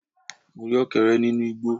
Mo rí Ọ̀kẹ́rẹ́ nínú igbó